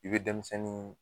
I be denmisɛnnin